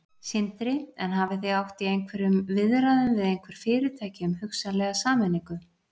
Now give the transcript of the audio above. Sindri: En hafið þið átt í einhverjum viðræðum við einhver fyrirtæki um hugsanlega sameiningu?